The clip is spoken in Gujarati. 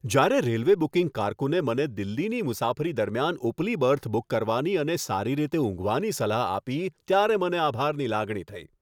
જ્યારે રેલવે બુકિંગ કારકુને મને દિલ્હીની મુસાફરી દરમિયાન ઉપલી બર્થ બુક કરવાની અને સારી રીતે ઊંઘવાની સલાહ આપી ત્યારે મને આભારની લાગણી થઈ.